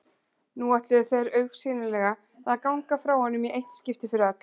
Nú ætluðu þeir augsýnilega að ganga frá honum í eitt skipti fyrir öll.